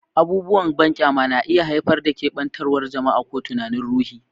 Abubuwan banƙyama na iya haifar da keɓantawar jama'a ko tunanin ruhi.